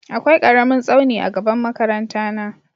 Akwai ƙaramin tsauni a gaban makaranta na.